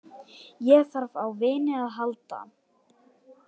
Ég þarf á vini að halda.